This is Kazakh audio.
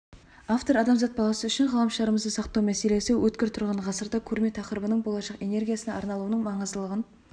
автор адамзат баласы үшін ғаламшарымызды сақтау мәселесі өткір тұрған ғасырда көрме тақырыбының болашақ энергиясына арналуының маңыздылығын